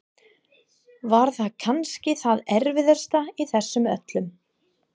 Var það kannski það erfiðasta í þessu öllu?